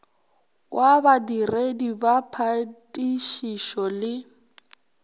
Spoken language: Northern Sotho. wa badiredi ba phatišišo le